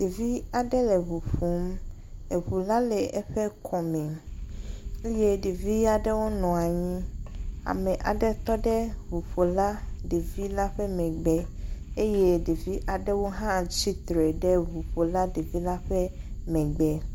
Ɖevi aɖe le eŋu ƒom. Eŋu la le eƒe kɔme eye ɖevi aɖewo nɔ anyi. Ame aɖe tɔ ɖe ŋuƒola devila ƒe megbe eye ɖevi aɖewo hã tsi tre ɖe ŋuƒola devila ƒe me.